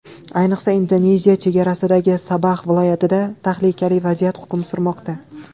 Ayniqsa Indoneziya chegarasidagi Sabax viloyatida tahlikali vaziyat hukm surmoqda.